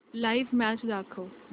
live match दाखव